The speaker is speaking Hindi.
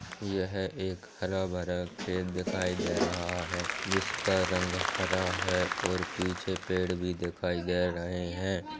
यह एक हरा भरा खेत दिखाई दे रहा है जिसका रंग हरा है और पीछे पेड़ भि दिखाई दे रहे है।